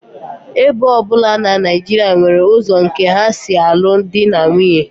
Ebo ọ bụla na Naijiria nwere ụzọ nke ha si alụ di na nwunye